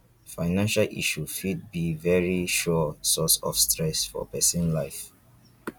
financial issues fit be very sure source of stress for person life